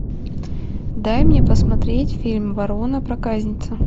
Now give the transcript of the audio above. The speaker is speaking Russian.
дай мне посмотреть фильм ворона проказница